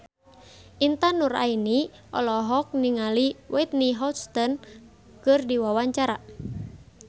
Intan Nuraini olohok ningali Whitney Houston keur diwawancara